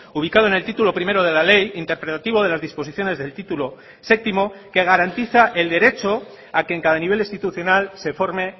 ubicado en el título primero de la ley interpretativo de las disposiciones del título séptimo que garantiza el derecho a que en cada nivel institucional se forme